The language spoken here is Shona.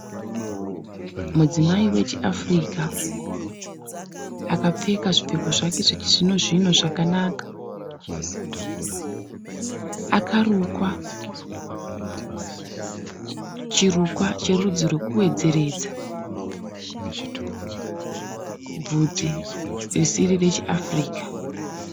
Mudzimai wechiAfurika akapfeka zvipfeko zvake zvechizvino zvino zvakanaka. Akarukwa chirukwa cherudzi rwekuwedzeredza bvudzi risiri rechiAfurika.